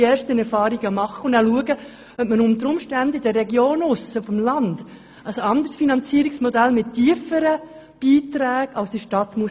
Nun will man erste Erfahrungen machen und dann schauen, ob man möglicherweise auf dem Land ein anderes Finanzierungsmodell mit tieferen Beiträgen als in der Stadt machen muss.